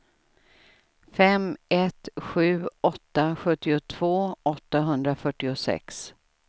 fem ett sju åtta sjuttiotvå åttahundrafyrtiosex